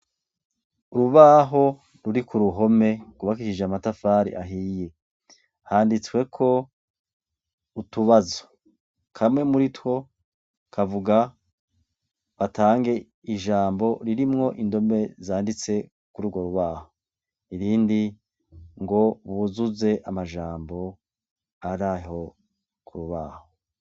Urubaho ruri ku ruhome gubakisije amatafari ahiye handitsweko utubazo kamwe muri two kavuga batange ijambo ririmwo indome zanditse kuri urwo rubaho irindi ngo buzuze amajambo ari aho kubaho.